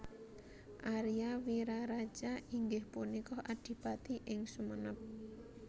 Aria Wiraraja inggih punika adipati ing Sumenep